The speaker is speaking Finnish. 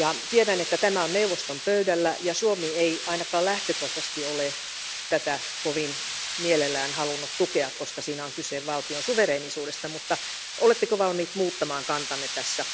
Tiedän, että tämä on neuvoston pöydällä ja että Suomi ei ainakaan lähtökohtaisesti ole tätä kovin mielellään halunnut tukea, koska siinä on kyse valtion suvereenisuudesta, mutta oletteko valmiita muuttamaan kantanne tässä?